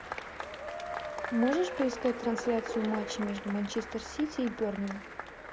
можешь поискать трансляцию матча между манчестер сити и бернли